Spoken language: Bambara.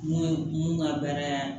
Mun ye mun ka bɛrɛ